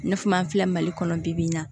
I n'a fɔ an filɛ mali kɔnɔ bi bi in na